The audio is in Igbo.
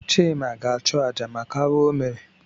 Chịma ga-achụ àjà maka arụ o mere.